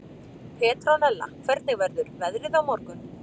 Petrónella, hvernig verður veðrið á morgun?